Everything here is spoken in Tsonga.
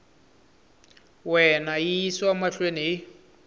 wena yi yisiwa mahlweni hi